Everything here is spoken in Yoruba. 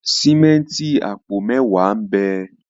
Sìmẹ́ǹtì apo mẹwa n'be.